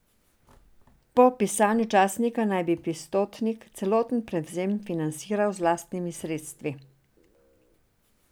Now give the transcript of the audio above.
Po pisanju časnika naj bi Pistotnik celoten prevzem financiral z lastnimi sredstvi.